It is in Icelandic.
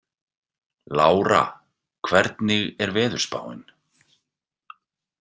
Lára, hvernig er veðurspáin?